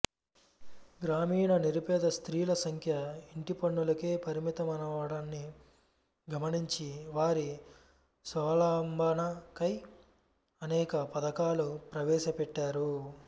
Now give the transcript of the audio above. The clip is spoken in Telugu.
గ్రామీణ నిరుపేద స్త్రీల సంఖ్య ఇంటిపనులకే పరిమితమవడాన్ని గమనించి వారి స్వావలంబన కై అనేక పధకాలు ప్రవేశపెట్టారు